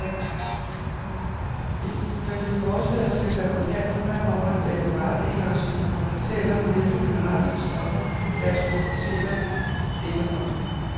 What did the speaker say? Ifølge forslaget skal fabrikanter fremover lave varedeklarationer, der fortæller, hvilke mineralske stoffer, deres produkteter indeholder.